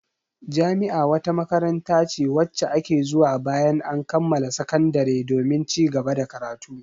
Jami'a wata makaranta ce wacce ake zuwa bayan an kammala sakandare domin cigaba da karatu.